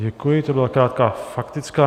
Děkuji, to byla krátká faktická.